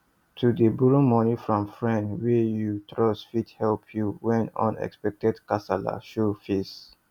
to dey borrow money from friend wey you trust fit help you when unexpected kasala show face